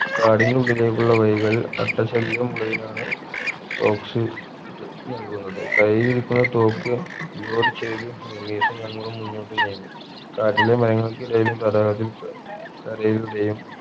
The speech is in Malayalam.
കാടിന്റെ ഉള്ളിലേക്കുള്ള വഴികളിൽ അട്ട ശല്യം ഉള്ളതിനാൽ socks ത് നൽകുന്നത് കയ്യിലിരിക്കുന്ന തോക്ക് revolt ചെയ്തതിന് റമീസും ഞങ്ങളും മുന്നോട്ട് നീങ്ങി കാട്ടിലെ മരങ്ങൾക്കിടയിലും തടാകത്തിൽ ക് കരയുടെയും